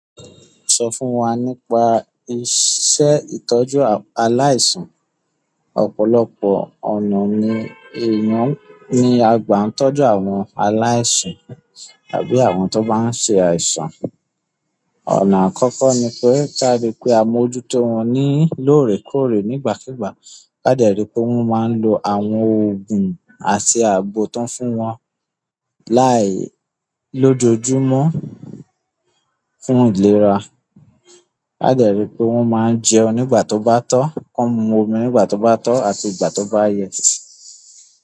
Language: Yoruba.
Sọ fún wa nípa iṣẹ́ ìtọ́jú aláìsàn. Ọ̀pọ̀lọpọ̀ ọ̀nà ni èèyàn ń, ni a gba ń tọ́jú àwọn aláìsàn, àbí àwọn tó bá ń ṣe àìsàn ọ̀nà àkọ́kọ́ ni pé kí a rí pé àmójútó wọn ní lóòrèkóòrè nígbàkígbà. Ká dẹ̀ rí pé wọ́n máa ń lò àwọn òògùn àti àgbo tóń fún wọn láì lójoojúmọ́ fún ìlera. Ká dẹ̀ rí pé wọ́n máa ń jẹun nígbà tó bá tó, kon mú omi nígbà tó bá tó àti ìgbà tó bá yẹ.